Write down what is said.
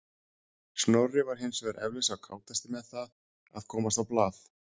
Snorri var hins vegar eflaust sá kátasti með það að komast á blað.